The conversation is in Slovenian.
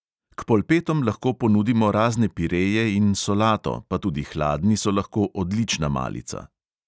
K polpetom lahko ponudimo razne pireje in solato, pa tudi hladni so lahko odlična malica.